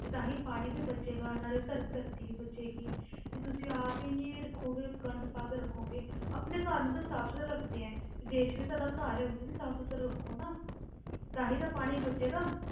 ਤੇ ਤਾਂ ਹੀ ਪਾਣੀ ਵੀ ਬਚੇਗਾ ਨਾਲੇ ਧਰਤੀ ਵੀ ਬਚੇਗੀ ਜੇ ਤੁਸੀਂ ਆਪ ਹੀ ਨੀ ਰੱਖੋਗੇ ਗੰਦ ਪਾ ਕੇ ਰੱਖੋਗੇ, ਆਪਣੇ ਘਰ ਨੂੰ ਤੇ ਸਾਫ਼ ਸੁਥਰਾ ਰੱਖਦੇ ਹੈ ਤੇ ਦੇਸ ਵੀ ਤੁਹਾਡਾ ਘਰ ਹੈ ਉਹਨੂੰ ਵੀ ਸਾਫ਼ ਸੁਥਰਾ ਰੱਖੋ ਨਾ, ਤਾਂ ਹੀ ਤਾਂ ਪਾਣੀ ਬਚੇਗਾ।